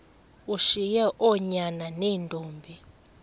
ushiye oonyana neentombi